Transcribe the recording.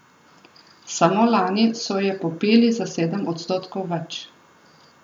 Samo lani so je popili za sedem odstotkov več.